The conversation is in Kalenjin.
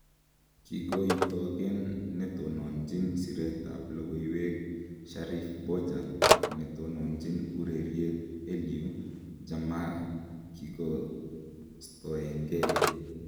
Kigoitogen netononjin siret ab logoiywek Sheriff Bojang ak netononjin ureriet Alieu JammehKigostoengei.